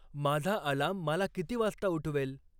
माझा अलार्म मला किती वाजता उठवेल